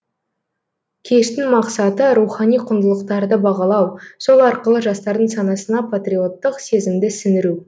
кештің мақсаты рухани құндылықтарды бағалау сол арқылы жастардың санасына патриоттық сезімді сіңіру